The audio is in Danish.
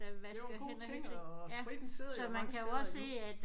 Det var en god ting og spritten sidder jo mange steder endnu